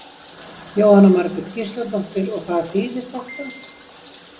Jóhanna Margrét Gísladóttir: Og hvað þýðir þetta?